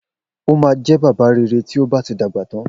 O máa jẹ́ bàbá rere tí ó bá ti dàgbà tán